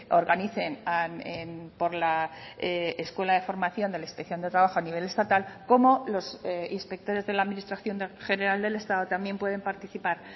organicen por la escuela de formación de la inspección de trabajo a nivel estatal como los inspectores de la administración general del estado también pueden participar